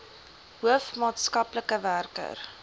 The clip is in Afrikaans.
hoof maatskaplike werker